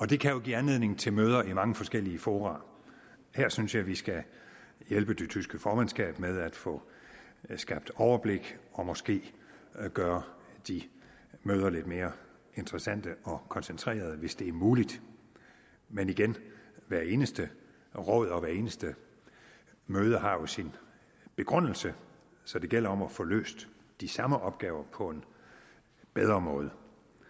det kan give anledning til møder i mange forskellige fora her synes jeg vi skal hjælpe det tyske formandskab med at få skabt overblik og måske gøre de møder lidt mere interessante og koncentrerede hvis det er muligt men igen hvert eneste råd og hvert eneste møde har jo sin begrundelse så det gælder om at få løst de samme opgaver på en bedre måde